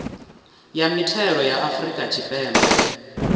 ya mithelo ya afrika tshipembe